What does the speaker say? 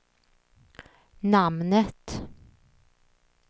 namnet